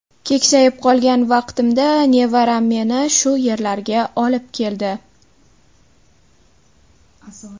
Keksayib qolgan vaqtimda nevaram meni shu yerlarga olib keldi.